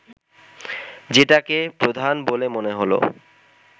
যেটাকে প্রধান বলে মনে হল